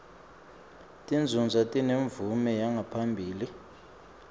tinzunzo tinemvume yaphambilini